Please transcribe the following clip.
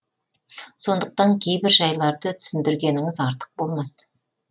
сондықтан кейбір жайларды түсіндіргеніңіз артық болмас